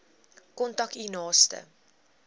kontak u naaste